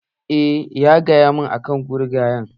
Eh, ya gaya mun akan gurgayen